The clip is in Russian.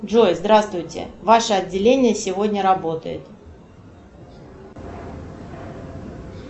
джой здравствуйте ваше отделение сегодня работает